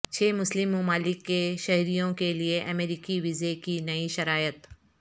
چھ مسلم ممالک کے شہریوں کے لیے امریکی ویزے کی نئی شرائط